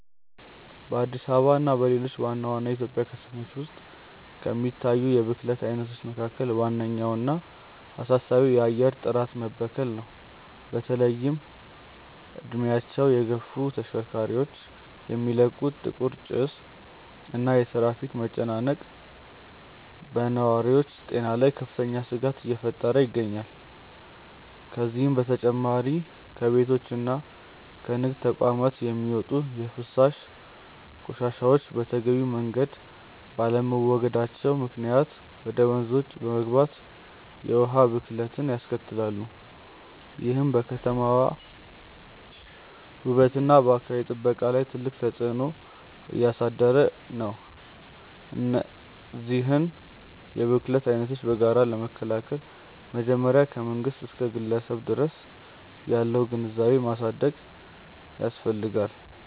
በአዲስ አበባ እና በሌሎች ዋና ዋና የኢትዮጵያ ከተሞች ውስጥ ከሚታዩት የብክለት አይነቶች መካከል ዋነኛውና አሳሳቢው የአየር ጥራት መበከል ነው። በተለይም እድሜያቸው የገፉ ተሽከርካሪዎች የሚለቁት ጥቁር ጭስ እና የትራፊክ መጨናነቅ በነዋሪው ጤና ላይ ከፍተኛ ስጋት እየፈጠረ ይገኛል። ከዚህም በተጨማሪ ከቤቶችና ከንግድ ተቋማት የሚወጡ የፍሳሽ ቆሻሻዎች በተገቢው መንገድ ባለመወገዳቸው ምክንያት ወደ ወንዞች በመግባት የውሃ ብክለትን ያስከትላሉ፤ ይህም በከተማዋ ውበትና በአካባቢ ጥበቃ ላይ ትልቅ ተጽዕኖ እያሳደረ ነው። እነዚህን የብክለት አይነቶች በጋራ ለመከላከል መጀመሪያ ከመንግስት እስከ ግለሰብ ድረስ ያለውን ግንዛቤ ማሳደግ ያስፈልጋል።